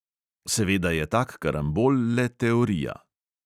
Seveda je tak karambol le teorija.